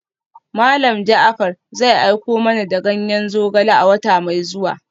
Malam Jaafar zai aiko mana da ganyen zogale a wata mai zuwa.